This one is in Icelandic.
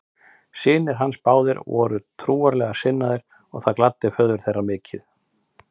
Synir hans báðir voru trúarlega sinnaðir og það gladdi föður þeirra mikið.